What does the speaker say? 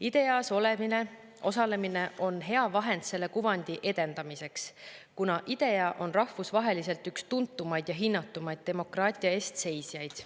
IDEA-s osalemine on hea vahend selle kuvandi edendamiseks, kuna IDEA on rahvusvaheliselt üks tuntumaid ja hinnatumaid demokraatia eest seisjaid.